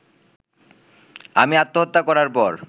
আমি আত্মহত্যা করার পর